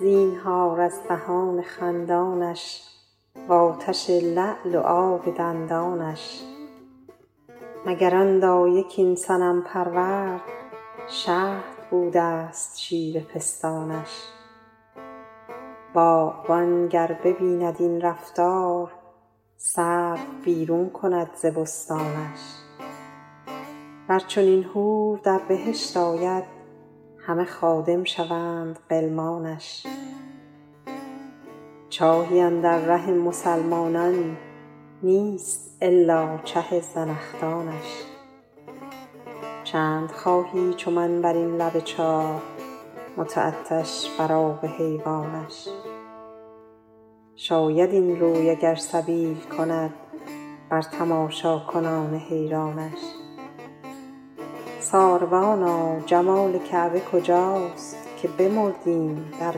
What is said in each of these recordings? زینهار از دهان خندانش و آتش لعل و آب دندانش مگر آن دایه کاین صنم پرورد شهد بوده ست شیر پستانش باغبان گر ببیند این رفتار سرو بیرون کند ز بستانش ور چنین حور در بهشت آید همه خادم شوند غلمانش چاهی اندر ره مسلمانان نیست الا چه زنخدانش چند خواهی چو من بر این لب چاه متعطش بر آب حیوانش شاید این روی اگر سبیل کند بر تماشاکنان حیرانش ساربانا جمال کعبه کجاست که بمردیم در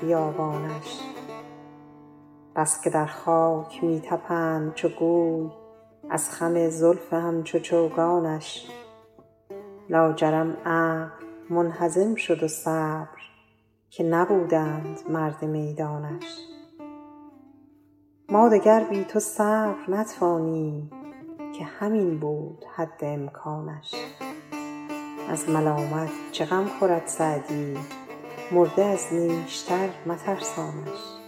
بیابانش بس که در خاک می طپند چو گوی از خم زلف همچو چوگانش لاجرم عقل منهزم شد و صبر که نبودند مرد میدانش ما دگر بی تو صبر نتوانیم که همین بود حد امکانش از ملامت چه غم خورد سعدی مرده از نیشتر مترسانش